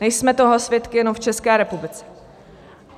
Nejsme toho svědky jenom v České republice.